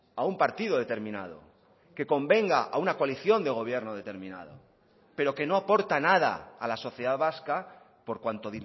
a un partido determinado que convenga a una coalición de gobierno determinado pero que no aporta nada a la sociedad vasca por cuanto